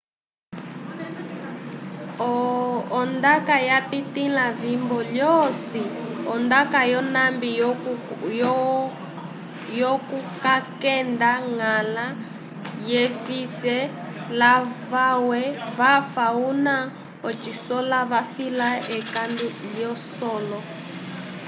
o ndaca yapitĩlã vibo lyosi o ndaka yonambi yoku kakenda ngãla jeffweise lavamwe vafa cuna cosicola vafila ekandu lilosolo